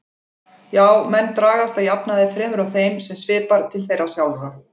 Já, menn dragast að jafnaði fremur að þeim sem svipar til þeirra sjálfra.